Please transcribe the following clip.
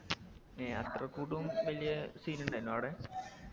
ഏ അത്രക്കൂട്ടും വലിയ scene ഇണ്ടായിനോ അവിടെ